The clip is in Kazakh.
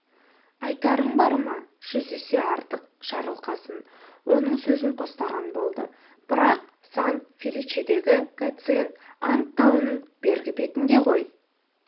айтарың бар ма жүз есе артық жарылқасын оның сөзін қостаған болды бірақ сан-феличедегі гациенд анд тауының бергі бетінде ғой